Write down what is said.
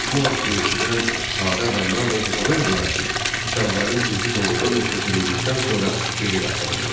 Bu haqda eşidən sadə adamlar da inanırdılar ki, kitabların üzü doğrudan da köçürüldükdən sonra geri qaytaracaqlar.